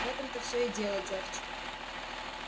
в этом-то все и дело джордж